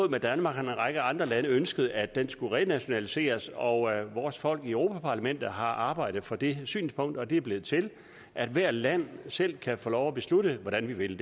danmark har en række andre lande ønsket at det skulle renationaliseres og vores folk i europa parlamentet har arbejdet for det synspunkt og det er blevet til at hvert land selv kan få lov at beslutte hvordan vi vil